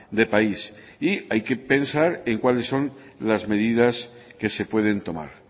de país y hay que pensar en cuáles son las medidas que se pueden tomar